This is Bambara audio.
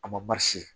A ma